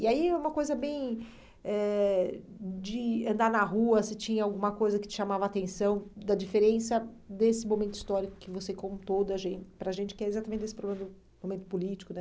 E aí é uma coisa bem eh de andar na rua, se tinha alguma coisa que te chamava a atenção, da diferença desse momento histórico que você contou da gen para a gente, que é exatamente desse momento político, né?